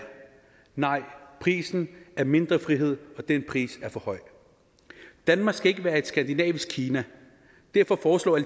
nej prisen er mindre frihed og den pris er for høj danmark skal ikke være et skandinavisk kina derfor foreslår